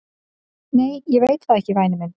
"""Nei, ég veit það, væni minn."""